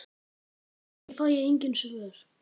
Kannski fæ ég engin svör.